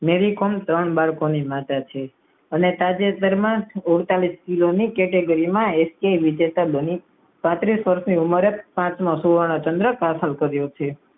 મેરિકોમ ત્રણ બાળકો ની માતા છે. અને તાજેતર માં જ અડતાલીસ કિલો ની category માં વિજેતા બની. પાંત્રીસ વર્ષ ની ઉમરે પાંચમો સુવર્ણ ચંદ્રક હાંસલ કર્યો છે.